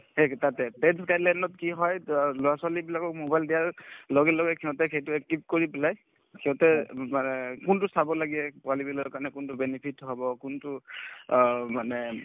সেই কি হয় লৰা-ছোৱালী বিলাকক mobile দিয়াৰ লগে লগে সিহঁতে সেইটো active কৰি পেলাই সিহঁতে অব মানে কোনটো চাব লাগে পোৱালিবিলাকৰ কাৰণে কোনটো benefit হব কোনটো অ মানে